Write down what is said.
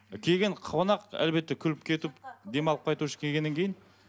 келген қонақ әлбетте күліп кетіп демалып қайту үшін келгеннен кейін